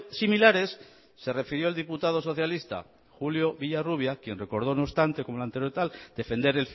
similares se refirió el diputado socialista julio villarrubia quien recordó no obstante como el anterior tal defender